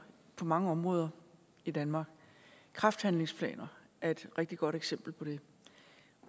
på mange områder i danmark kræfthandlingsplaner er et rigtig godt eksempel på det